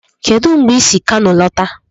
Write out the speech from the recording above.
Kedụ mgbe ị si Kano lọta?